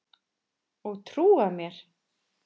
Og trúað mér!